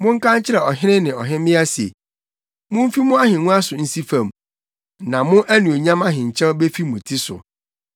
Monka nkyerɛ ɔhene ne ɔhemmea se, “Mumfi mo ahengua so nsi fam, na mo anuonyam ahenkyɛw befi mo ti so.”